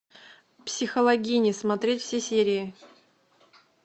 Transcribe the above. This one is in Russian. психологини смотреть все серии